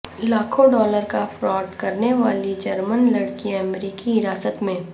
لاکھوں ڈالر کا فراڈ کرنے والی جرمن لڑکی امریکی حراست میں